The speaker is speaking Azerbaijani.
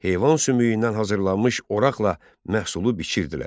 Heyvan sümüyündən hazırlanmış oraqla məhsulu biçirdilər.